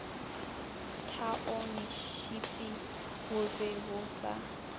thaontšhipi bo be bo sa